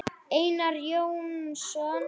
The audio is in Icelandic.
Einar Jónsson